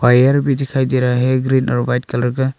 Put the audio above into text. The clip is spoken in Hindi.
वायर भी दिखाई दे रहा है ग्रीन और व्हाइट कलर का।